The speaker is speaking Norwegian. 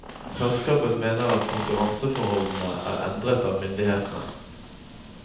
Selskapet mener at konkurranseforholdene er endret av myndighetene.